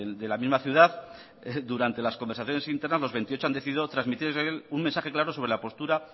de la misma ciudad durante las conversaciones internas los veintiocho han decidido trasmitir un mensaje claro sobre la postura